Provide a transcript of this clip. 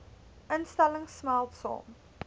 instellings smelt saam